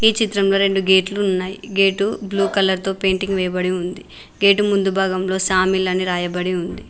చిత్రంలో రెండు గేట్లు ఉన్నాయి గేటు బ్లూ కలర్ తో పెయింటింగ్ వేయబడి ఉంది గేటు ముందు భాగంలో సా మిల్ అని రాయబడి ఉంది.